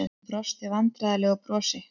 Hann brosti vandræðalegu brosi.